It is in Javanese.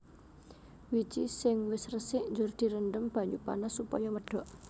Wiji sing wis resik njur direndhem banyu panas supaya medhok